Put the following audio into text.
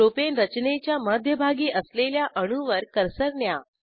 propane रचनेच्या मध्यभागी असलेल्या अणूवर कर्सर न्या